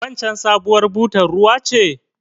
Waccen sabuwar butar bar ruwa ce?